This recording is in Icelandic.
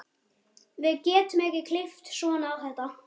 Við getum ekki klippt svona á þetta.